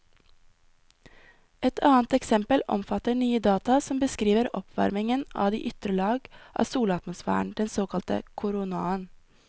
Et annet eksempel omfatter nye data som beskriver oppvarmingen av de ytre lag av solatmosfæren, den såkalte koronaen.